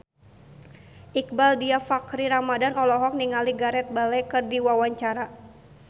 Iqbaal Dhiafakhri Ramadhan olohok ningali Gareth Bale keur diwawancara